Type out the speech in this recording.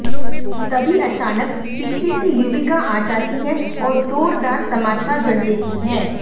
तभी अचानक पीछे से युविका आ जाती है और जोरदार तमाचा जड़ देती है